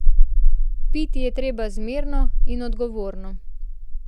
Piti je treba zmerno in odgovorno.